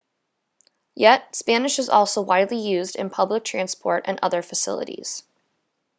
yet spanish is also widely used in public transport and other facilities